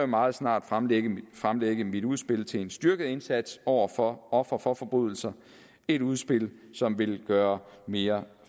meget snart fremlægge mit fremlægge mit udspil til en styrket indsats over for ofre for forbrydelser et udspil som vil gøre mere